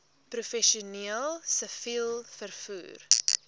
professioneel siviel vervoer